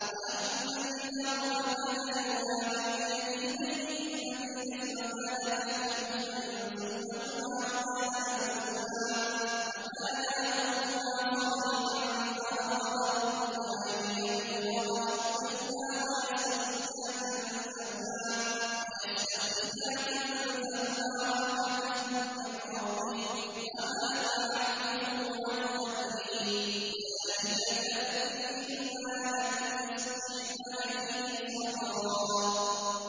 وَأَمَّا الْجِدَارُ فَكَانَ لِغُلَامَيْنِ يَتِيمَيْنِ فِي الْمَدِينَةِ وَكَانَ تَحْتَهُ كَنزٌ لَّهُمَا وَكَانَ أَبُوهُمَا صَالِحًا فَأَرَادَ رَبُّكَ أَن يَبْلُغَا أَشُدَّهُمَا وَيَسْتَخْرِجَا كَنزَهُمَا رَحْمَةً مِّن رَّبِّكَ ۚ وَمَا فَعَلْتُهُ عَنْ أَمْرِي ۚ ذَٰلِكَ تَأْوِيلُ مَا لَمْ تَسْطِع عَّلَيْهِ صَبْرًا